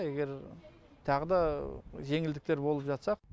егер тағы да жеңілдіктер болып жатса